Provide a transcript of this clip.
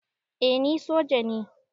Eh ni soja ne